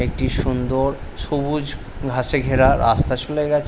একটি সুন্দর সবুজ ঘাসে ঘেরা রাস্তা চলে গেছ--